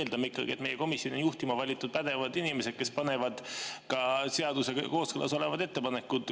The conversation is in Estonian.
Me eeldame ikkagi, et meie komisjone on juhtima valitud pädevad inimesed, kes panevad komisjonis hääletusele seadusega kooskõlas olevad ettepanekud.